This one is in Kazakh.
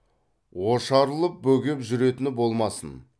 ошарылып бөгеп жүретіні болмасын